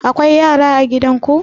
Akwai yara a gidan ku?